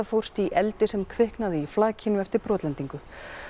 fórst í eldi sem kviknaði í flakinu eftir brotlendingu